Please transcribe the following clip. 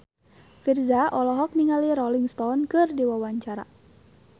Virzha olohok ningali Rolling Stone keur diwawancara